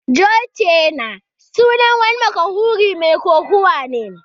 John Cena sunan wani mashahuri Mai kokawa ne.